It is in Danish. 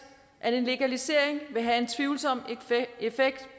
at en legalisering vil have en tvivlsom effekt